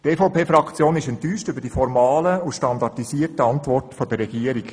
Die EVP-Fraktion ist enttäuscht über die formalen und standardisierten Antworten der Regierung.